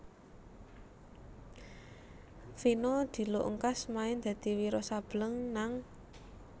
Vino diluk ngkas main dadi Wiro Sableng nang